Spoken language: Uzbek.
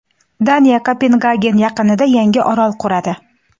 Daniya Kopengagen yaqinida yangi orol quradi.